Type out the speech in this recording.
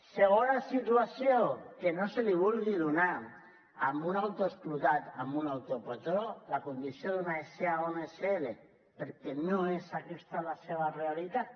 segons la situació que no se li vulgui donar a un autoexplotat a un autopatró la condició d’una sa o una sl perquè no és aquesta la seva realitat